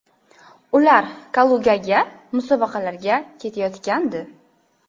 Ular Kalugaga musobaqalarga ketayotgandi.